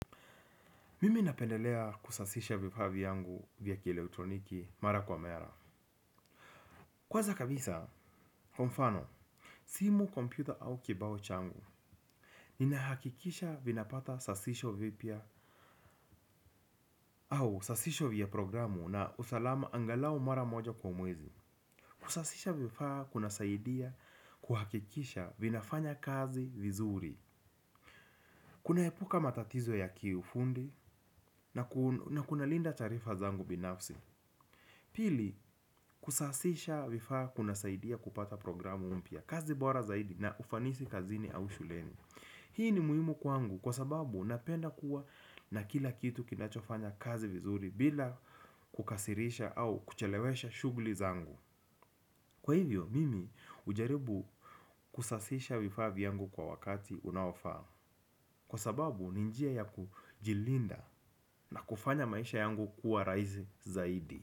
Mimi napendelelea kusafisha vifaa vnyangu vya elektroniki mara kwa mara. Kwanza kabisa, kwa mfano, simu, kompyuta au kibao changu. Nina hakikisha vinapata sasisho vipya au sasisho vya programu na usalama angalau mara moja kwa mwezi. Kusasisha vifaa kunasaidia kuhakikisha vinafanya kazi vizuri. Kunaepuka matatizo ya kiufundi na kuna linda taarifa zangu binafsi. Pili, kusasisha vifaa kunasaidia kupata programu mpya kazi bora zaidi na ufanisi kazini au shuleni. Hii ni muhimu kwangu kwa sababu napenda kuwa na kila kitu kinachofanya kazi vizuri bila kukasirisha au kuchelewesha shugli zangu. Kwa hivyo mimi ujaribu kusasisha vifaa vyangu kwa wakati unaofaa. Kwa sababu ni njia ya kujilinda na kufanya maisha yangu kuwa raizi zaidi.